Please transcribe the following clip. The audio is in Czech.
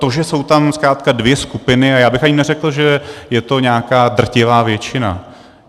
To, že jsou tam zkrátka dvě skupiny, a já bych ani neřekl, že je to nějaká drtivá většina.